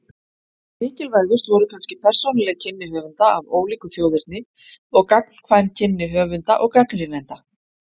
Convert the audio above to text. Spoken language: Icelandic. Mikilvægust voru kannski persónuleg kynni höfunda af ólíku þjóðerni og gagnkvæm kynni höfunda og gagnrýnenda.